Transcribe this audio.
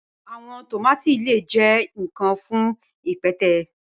Awọn tomati lẹẹ jẹ nikan fun ipẹtẹ